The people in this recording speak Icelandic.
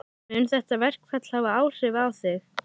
Mun þetta verkfall hafa áhrif á þig?